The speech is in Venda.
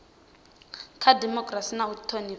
kha dimokirasi na u thonifha